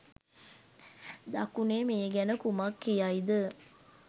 දකුණේ මේ ගැන කුමක් කියයිද?